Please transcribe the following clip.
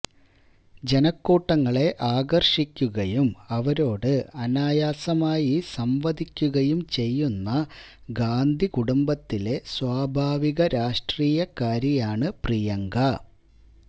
ജനക്കൂട്ടങ്ങളെ ആകർഷിക്കുകയും അവരോട് അനായാസമായി സംവദിക്കുകയും ചെയ്യുന്ന ഗാന്ധി കുടുംബത്തിലെ സ്വാഭാവിക രാഷ്ട്രീയക്കാരിയാണു പ്രിയങ്ക